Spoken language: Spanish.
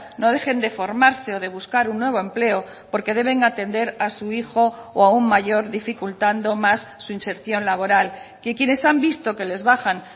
no dejen de formarse o de buscar un nuevo empleo porque deben atender a su hijo o a un mayor dificultando más su inserción laboral que quienes han visto que les bajan